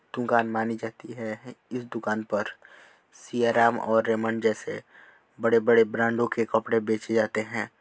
दुकान मानी जाती है इस दुकान पर सिया राम और रेमंड जैसे बड़े-बड़े ब्रांडों के कपड़े बेचे जाते हैं।